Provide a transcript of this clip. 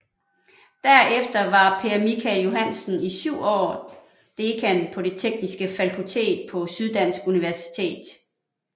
Derefter var Per Michael Johansen i syv år dekan på det Tekniske Fakultet på Syddansk Universitet